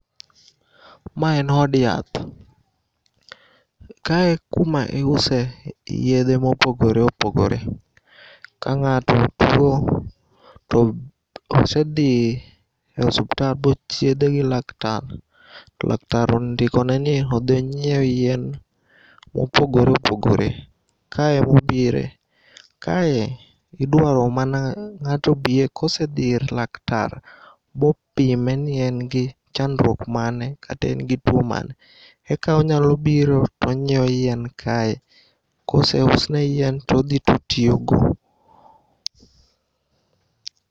Ma en od yath. Kae e kuma iuse yedhe mopogore opogore kang'ato tuo to osedhi e osuptal bochiedhe gi laktar to laktar ondikoneni odhionyieu yien mopogore opogore ka emobire. Kae iduaro mana ng'ato obie kaose dhi ir laktar bopimeni engi chandruok mane kata ingi tuo mane eka onyalobiro tonyieo yien kae. Koseusne yien todhi totiyogo.